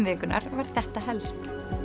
vikunnar var þetta helst